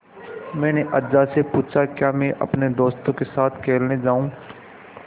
मैंने अज्जा से पूछा क्या मैं अपने दोस्तों के साथ खेलने जाऊँ